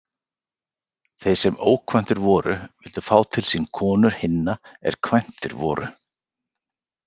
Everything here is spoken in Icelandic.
Þeir sem ókvæntir voru vildu fá til sín konur hinna er kvæntir voru.